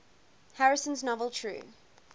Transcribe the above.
harrison's novel true